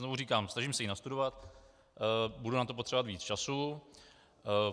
Znovu říkám, snažím se ji nastudovat, budu na to potřebovat víc času.